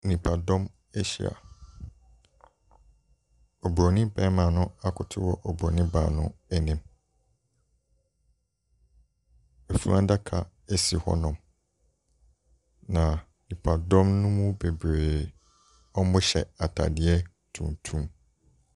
Nnipadɔm ahyia. Oburoni barima no akoto oburoni baa no anim. Funu adaka si hɔnom, na nnipa dɔm no mu bebree, wɔhyɛ atadeɛ tuntum.